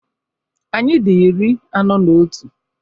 Anyị dị iri anọ na otu.